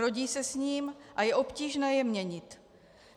Rodí se s ním a je obtížně je měnit.